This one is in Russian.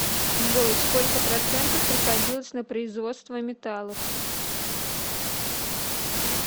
джой сколько процентов приходилось на производство металлов